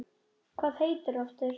Hvað heitir þú aftur?